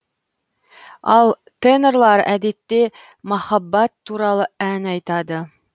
ал тенорлар әдетте махаббат туралы ән айтады